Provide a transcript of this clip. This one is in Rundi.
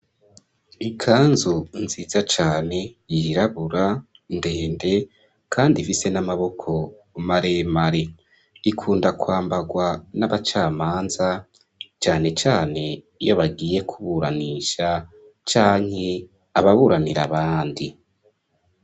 Ikanzu nziza cane yirabura ndende kandi ifise n'amaboko maremare. Ikunda kwambarwa n'abacamanza cane cane iyo bagiye kuburanisha canke ababuranira abandi.